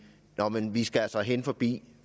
nå men vi skal altså hen forbi